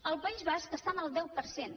al país basc està en el deu per cent